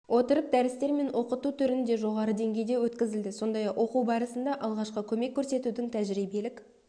отырып дәрістер мен оқыту түрінде жоғары деңгейде өткізілді сондай-ақ оқу барысында алғашқы көмек көрсетудің тәжірибелік